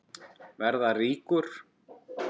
Verða ríkur.